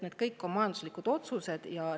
Need kõik on majanduslikud.